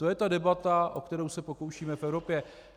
To je ta debata, o kterou se pokoušíme v Evropě.